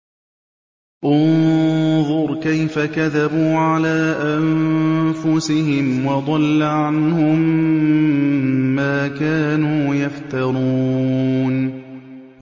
انظُرْ كَيْفَ كَذَبُوا عَلَىٰ أَنفُسِهِمْ ۚ وَضَلَّ عَنْهُم مَّا كَانُوا يَفْتَرُونَ